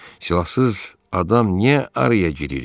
Silahsız adam niyə araya girir ki?